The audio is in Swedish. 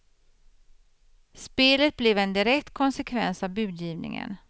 Spelet blev en direkt konsekvens av budgivningen.